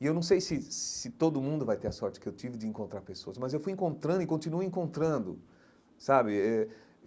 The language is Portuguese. E eu não sei se se todo mundo vai ter a sorte que eu tive de encontrar pessoas, mas eu fui encontrando e continuo encontrando, sabe? eh